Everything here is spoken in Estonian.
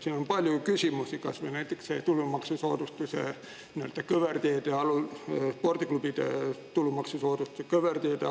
Siin on palju küsimusi, kas või näiteks see spordiklubide tulumaksusoodustuse kõverteede